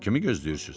Kimi gözləyirsiz?